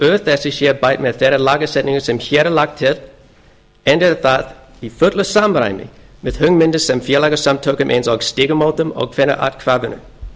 úr þessu sé bætt með þeirri lagasetningu sem hér er lögð til enda er það í fullu samræmi við hugmyndir frá félagasamtökum eins og stígamótum og kvennaathvarfinu